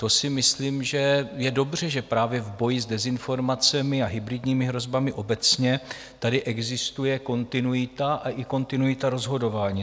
To si myslím, že je dobře, že právě v boji s dezinformacemi a hybridními hrozbami obecně tady existuje kontinuita a i kontinuita rozhodování.